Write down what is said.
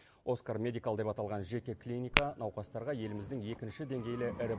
оскар медикал деп аталған жеке клиника науқастарға еліміздің екінші деңгейлі ірі